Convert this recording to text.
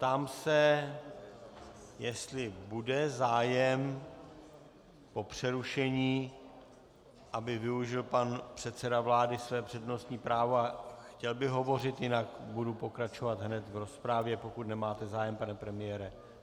Ptám se, jestli bude zájem po přerušení, aby využil pan předseda vlády své přednostní právo a chtěl by hovořit, jinak budu pokračovat hned v rozpravě, pokud nemáte zájem, pane premiére.